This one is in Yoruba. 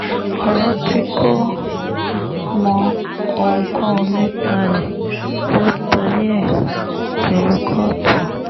ọ̀rọ̀ tí kò mọ ohunkóhun nípa rẹ̀ ló torí ẹ̀ dèrò kóòtù